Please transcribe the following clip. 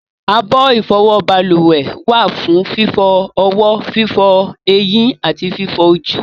abọ́ ìfọwọ́ balùwẹ̀ wà fún fífọ ọwọ́, fífọ ẹyín àti fífọ ojú